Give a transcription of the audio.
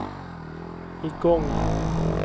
igång